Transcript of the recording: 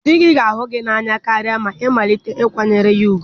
Di gị ga-ahụ gị n'anya karịa ma i malite ịkwanyere ya ùgwù.